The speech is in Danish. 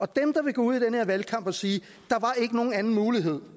dem der vil gå ud i den her valgkamp og sige at nogen anden mulighed